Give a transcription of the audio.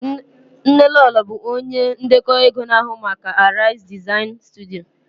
Nnelolo bụ onye ndekọ ego na-ahụ maka ego Aries Design Studio